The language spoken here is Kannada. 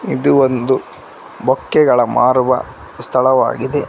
ಇದು ಒಂದು ಬೊಕ್ಕೆಗಳು ಮಾರುವ ಸ್ಥಳವಾಗಿದೆ.